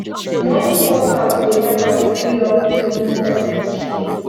morning workout dey help am free up evening time to chill